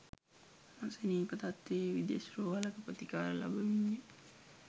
අසනීප තත්ත්වයේ විදෙස් රෝහලක ප්‍රතිකාර ලබමින්ය.